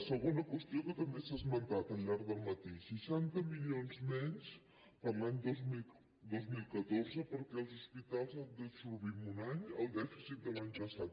segona qüestió que també s’ha esmentat al llarg del matí seixanta milions menys per a l’any dos mil catorze perquè els hospitals han d’absorbir en un any el dèficit de l’any passat